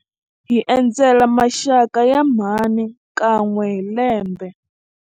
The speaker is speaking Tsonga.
Hi endzela maxaka ya mhani kan'we hi lembe.